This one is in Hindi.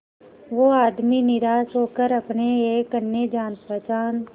वो आदमी निराश होकर अपने एक अन्य जान पहचान